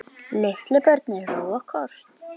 Litlu börnin róa kort.